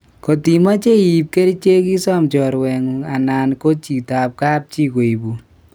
Kotimache iip kerech isam chorwengu anan ko jito ap kapji koipun